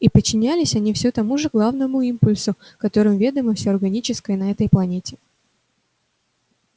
и подчинялись они все тому же главному импульсу которым ведомо всё органическое на этой планете